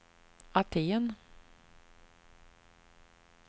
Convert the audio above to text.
Aten